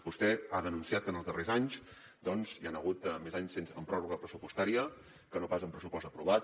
vostè ha denunciat que en els darrers anys doncs hi han hagut més anys amb pròrroga pressupostària que no pas amb pressupost aprovat